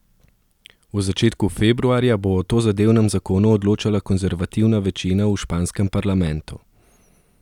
V začetku februarja bo o tozadevnem zakonu odločala konzervativna večina v španskem parlamentu.